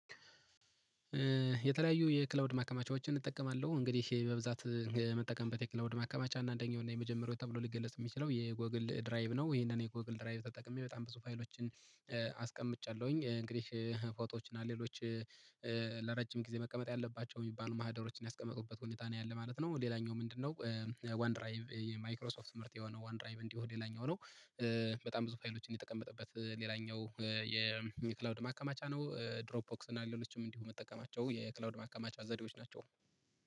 የተለያዩ የክላውድ ማከማቻዎችን እጠቀማለሁ እንግዲህ በብዛት መጠቀም በተክለው ድምር ማከማቻ እና አንደኛው የመጀመሪያው ተብሎ ሊገለጽ የሚችለው የጎግል ድራይብ ነው። ይሄንን የጎግል ድራይብ ተጠቅሜ በጣም ብዙ ፋይሎችን። አስቀምጫለሁኝ እንግዲህ ፎቶዎች እና ሌሎች። ለረጅም ጊዜ መቀመጥ ያለባቸው የሚባሉ ማህደሮችን ያስቀመጡበት ሁኔታ ነው ያለ ማለት ነው። ሌላኛው ምንድነው? ዋን ድራይቭ የማይክሮሶፍት ምርጥ የሆነው ዋን ድራይቭ እንዲሁ ሌላኛው ነው። በጣም ብዙ ፋይሎች እንደተቀመጠበት ሌላኛው የኒክላውድ ማከማቻ ነው። ድሮፕ ኦክስ እና ሌሎችም እንዲሁ መጠቀማቸው የክላውድ ማካማቻ ዘዴዎች ናቸው